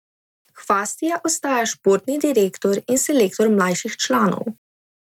Hvastija ostaja športni direktor in selektor mlajših članov.